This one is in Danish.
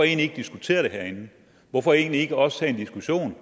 ikke diskutere det herinde hvorfor egentlig ikke også tage en diskussion